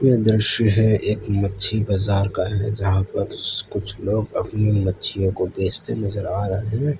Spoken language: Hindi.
दृश्य है एक मच्छी बाजार का हैं जहां पर कुछ लोग अपनी मच्छियों को बेचते नजर आ रहे --